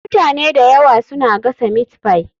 Mutane da yawa suna gasa meatpie.